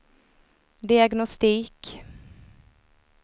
diagnostik